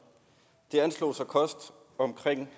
det anslås at koste omkring